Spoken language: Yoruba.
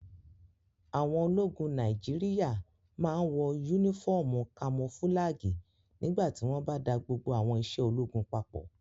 Àwọn ológun Nàìjíríyà máa n wọ yúnífọ́ọ̀mù kamofúlàgì nígbà tí wọ́n bá da gbogbo àwọn iṣẹ́ ológun papọ̀